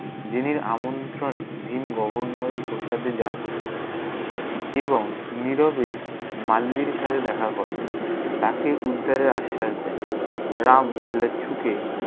জেনির আমন্ত্রনে ভীম গভর্নরের প্রসাদে যান। এবং নিরবে মাল্লির সাথে দেখা করেন। তাকে উদ্ধারের আশ্বাস দেন। রাম ঝুঁকে-